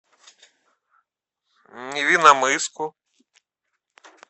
невинномысску